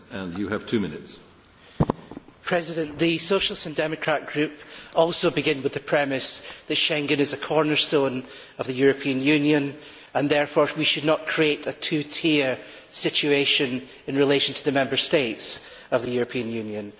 Mr President, the Socialist and Democrat Group also begins with the premise that Schengen is a cornerstone of the European Union and therefore we should not create a two tier situation in relation to the Member States of the European Union.